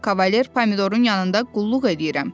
Kavalier Pomidorun yanında qulluq eləyirəm.